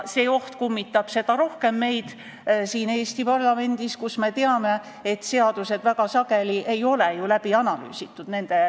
See oht kummitab meid siin Eesti parlamendis seda rohkem, et me teame, et seaduste mõjud ei ole väga sageli ju läbi analüüsitud.